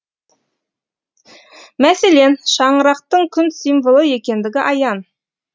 мәселен шаңырақтың күн символы екендігі аян